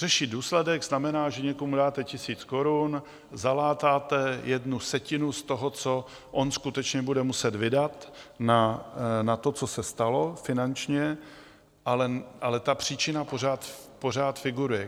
Řešit důsledek znamená, že někomu dáte tisíc korun, zalátáte jednu setinu z toho, co on skutečně bude muset vydat na to, co se stalo, finančně, ale ta příčina pořád figuruje.